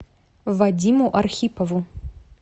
вадиму архипову